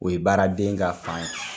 O ye baaraden ka fan ye